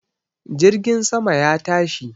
Jirgin sama ya tashi